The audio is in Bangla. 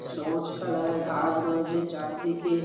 সবুজ কালারের ঘাস রয়েছে চারদিকে